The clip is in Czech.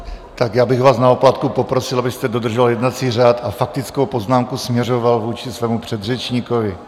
Tak já bych vás na oplátku poprosil, abyste dodržoval jednací řád a faktickou poznámku směřoval vůči svému předřečníkovi.